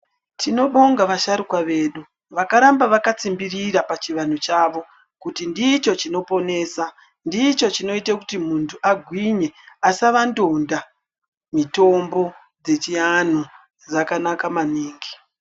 Tinobonga vasharukwa vedu vakaramba vakatsimbirira pachivanhu chavo kuti ndicho chinoponesa. Ndicho chinoite kuti muntu agwinye asava ndonda. Mitombo dzechianhu dzakanaka maningi.